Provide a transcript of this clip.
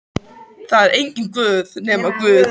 Það er enginn Guð nema Guð.